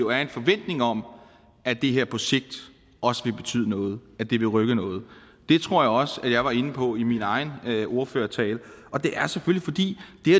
er en forventning om at det her projekt også vil betyde noget at det vil rykke noget det tror jeg også jeg var inde på i min egen ordførertale og det er selvfølgelig fordi